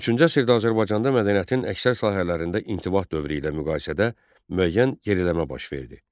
13-cü əsrdə Azərbaycanda mədəniyyətin əksər sahələrində intibah dövrü ilə müqayisədə müəyyən geriləmə baş verdi.